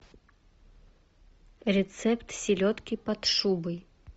рецепт селедки под шубой